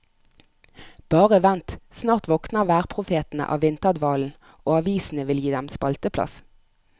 Bare vent, snart våkner værprofetene av vinterdvalen, og avisene vil gi dem spalteplass.